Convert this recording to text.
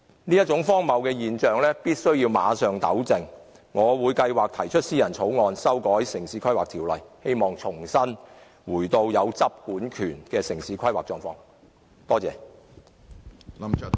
我們必須馬上糾正這種荒謬現象，我計劃提出私人草案修訂《城市規劃條例》，希望重新回到有執管權的城市規劃狀況。